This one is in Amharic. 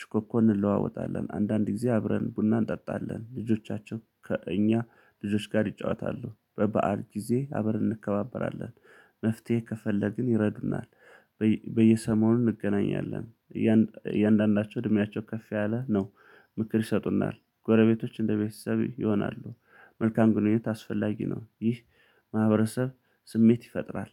ሽኮኮን እንለዋወጣለን አንዳንድ ጊዜ አብረን ቡና እንጠጣለን ልጆቻችን ከእኛ ልጆች ጋር ይጫወታሉ በበዓል ጊዜ አበርን እንከባበራለን። መፍትሄ ከፈለግን ይረዱናል። በየሰሞኑ እንገናኛለን እያንዳንዳቸው እድሜያቸው ከፍ ያለ ነው ምክር ይሰጡናል ጎረቤቶች እንደቤተሰብ ይሆናሉ። መልካም ግንኙነት አስፈላጊ ነው። ይህ ማህበረሰብ ስሜት ይፈጥራል።